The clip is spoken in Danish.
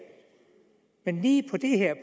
at lige